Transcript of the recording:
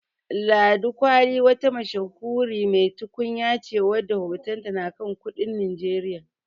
Ladi kwali wata mashahuri mai tukunya ce wadda hotonta na kan kudin Najeriya.